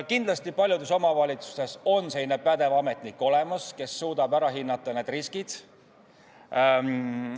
Kindlasti on paljudes omavalitsustes olemas selline pädev ametnik, kes suudab need riskid ära hinnata.